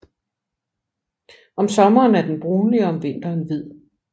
Om sommeren er den brunlig og om vinteren hvid